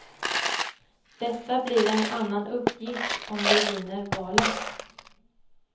Detta blir en annan uppgift om vi vinner valet.